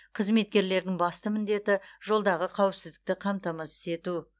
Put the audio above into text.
қызметкерлердің басты міндеті жолдағы қауіпсіздікті қамтамасыз ету